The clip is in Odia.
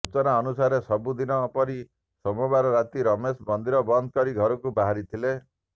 ସୂଚନା ଅନୁସାରେ ସବୁ ଦିନ ପରି ସୋମବାର ରାତି ରମେଶ ମନ୍ଦିର ବନ୍ଦ କରି ଘରକୁ ବାହାରିଥିଲେ